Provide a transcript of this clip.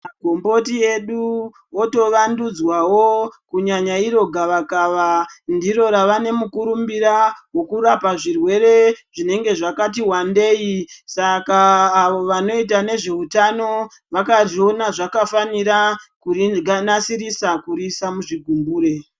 Magomboti edu otovandudzwawo kunyanya iro gavakava ndiro rava nemukurumbira wekurapa zvirwere zvinenge zvakati wandei saka avo vanoita nezveutano vakazviona zvakafanira kurinasirisa kuriisa muzvigumbure.